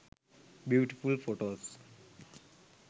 beautiful photos